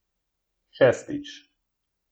Šestič.